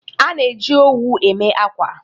A na-eji owu eme akwa